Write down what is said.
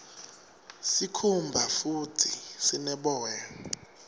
sikhumba futdi sine boya